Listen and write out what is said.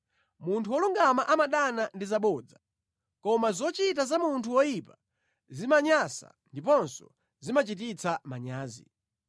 Munthu wolungama amadana ndi zabodza, koma zochita za munthu woyipa zimanyansa ndiponso zimachititsa manyazi.